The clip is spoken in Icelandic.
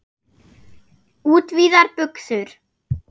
Útvíðar buxur.